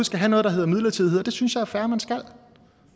skal have noget der hedder midlertidighed og det synes jeg det er fair at man skal